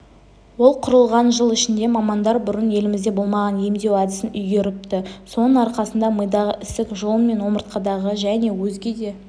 ол құрылған жыл ішінде мамандар бұрын елімізде болмаған емдеу әдісін үйгеріпті соның арқасында мидағы ісік жұлын мен омыртқадағы және өзге де